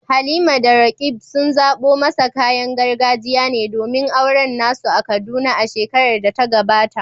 Halima da Roqeeb sun zaɓo masa kayan gargajiya ne domin auren na su a Kaduna a shekarar da ta gabata.